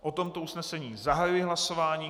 O tomto usnesení zahajuji hlasování.